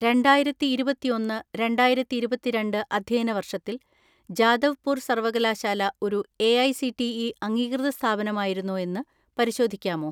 രണ്ടായിരത്തിഇരുപത്തിഒന്ന് രണ്ടായിരത്തിഇരുപത്തിരണ്ട്‍ അധ്യയന വർഷത്തിൽ ജാദവ്പൂർ സർവകലാശാല ഒരു എഐസിടിഇ അംഗീകൃത സ്ഥാപനമായിരുന്നോ എന്ന് പരിശോധിക്കാമോ?